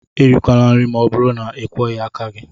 Erikwala nri ma ọ bụrụ na ịkwọghị aka!